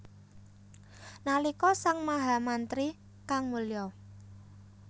Nalika sang mahamantri kang mulya